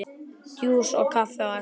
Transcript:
Djús og kaffi á eftir.